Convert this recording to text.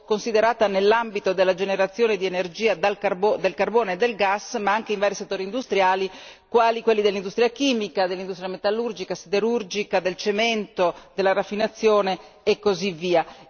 considerata nell'ambito della generazione di energia dal carbone e dal gas ma anche in vari settori industriali, quali quelli dell'industria chimica, dell'industria metallurgica, siderurgica, del cemento, della raffinazione e così via.